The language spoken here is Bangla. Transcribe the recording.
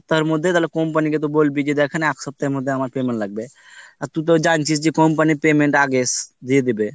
মধ্যে তাহলে company কে বলবি যে দেকেন আমের এক সপ্তাহের মধ্যে payment লাগবে আর তুই তো জানছিস যে company এর payment আগেশ দিয়ে দিবে